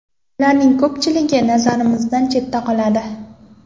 Ularning ko‘pchiligi nazarimizdan chetda qoladi.